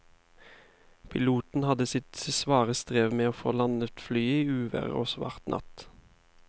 Piloten hadde sitt svare strev med å få landet flyet i uvær og svart natt.